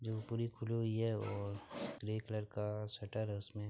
खुली हुई है और ग्रे कलर का शटर है उसमें--